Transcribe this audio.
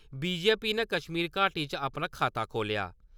BJP ने कश्मीर घाटी च अपना खाता खोलेआ।